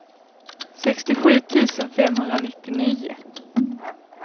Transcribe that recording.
sextiosju tusen femhundranittionio